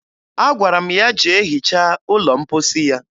Agwara m ya jee hichaa ụlọ mposi ya